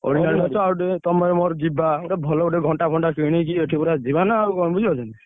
ଆଉ ଟିକେ ତମେ ମୋର ଯିବା ଗୋଟେ ଭଲ ଗୋଟେ ଘଣ୍ଟା ଫଣ୍ଟା କିଣିକି ଏଠୁ ପୁରା ଯିବାନା କଣ ବୁଝିପାରୁଛ ନା?